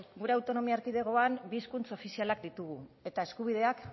gure autonomia erkidegoan bi hizkuntz ofizialak ditugu eta eskubideak